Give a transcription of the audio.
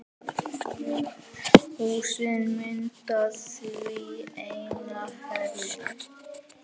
Húsin mynda því eina heild.